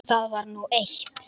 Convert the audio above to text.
Það var nú eitt.